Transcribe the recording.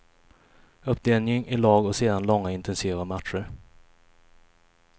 Uppdelning i lag och sedan långa intensiva matcher.